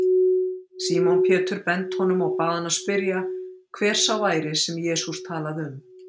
Símon Pétur benti honum og bað hann spyrja, hver sá væri, sem Jesús talaði um.